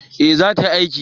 eh za ta yi aiki